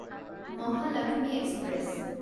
Mahalaxmi express